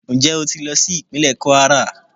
Njẹ o ti lọ si ipinlẹ kwara?